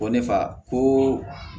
Ko ne fa ko